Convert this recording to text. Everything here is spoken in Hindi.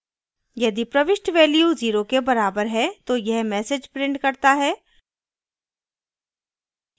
यदि prints value 0 के बराबर है तो यह message prints करता है